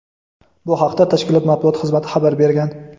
Bu haqda tashkilot matbuot xizmati xabar bergan.